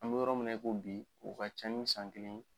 An be yɔrɔ min na i ko bi o ka ca ni san kelen ye